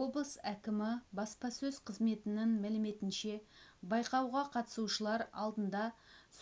облыс әкімі баспасөз қызметінің мәліметінше байқауға қатысушылар алдында